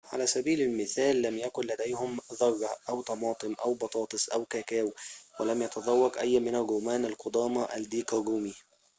على سبيل المثال لم يكن لديهم ذرة أو طماطم أو بطاطس أو كاكاو ولم يتذوق أي من الرومان القدامى الديك الرومي